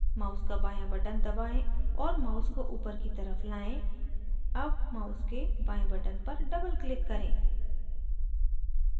mouse का बाँया button दबाएं और mouse को upward की तरफ लाएं double mouse के बाएं button पर doubleclick करें